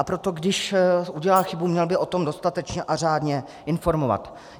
A proto když udělá chybu, měl by o tom dostatečně a řádně informovat.